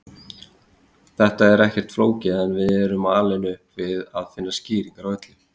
Þetta er ekkert flókið en við erum alin upp við að finna skýringar á öllu.